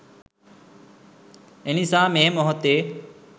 එනිසා මේ මොහොතේ